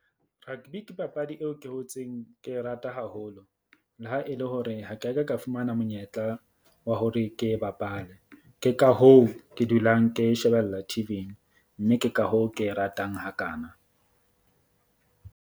Rugby ke papadi eo ke hotseng ke e rata haholo. Le ha e le hore ha ke a ka ka fumana monyetla wa hore ke e bapale. Ke ka hoo ke dulang ke e shebella T_V-ing mme ke ka hoo ke e ratang hakana.